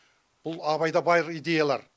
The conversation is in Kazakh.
бұл абайда байғ идеялар